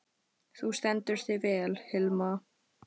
Þú stendur þig vel, Hilma!